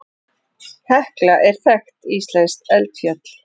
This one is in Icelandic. Hekla er þekkt íslenskt eldfjall.